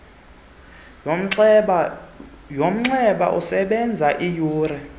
yomnxeba esebenza iiyure